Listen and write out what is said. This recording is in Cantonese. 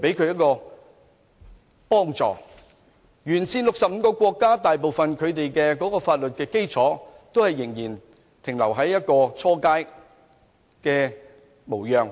"一帶一路"沿線65個國家的法律基礎，大部分仍停留於初階模樣。